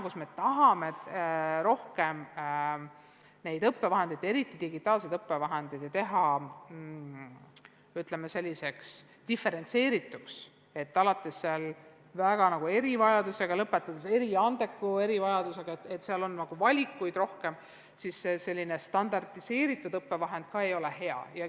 Kui me tahame, et õppevahendeid, eriti digitaalseid õppevahendeid oleks rohkem ja et need oleksid diferentseeritud, alates erivajadustest ja lõpetades eriandekusega – et valikuid oleks rohkem –, siis selline standardiseeritud õppevahend ei ole hea.